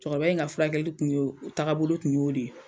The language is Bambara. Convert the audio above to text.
Cɛkɔrɔba in furakɛli kun ye a taabolo tun y'o de ye.